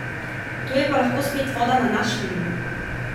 To je pa lahko spet voda na naš mlin.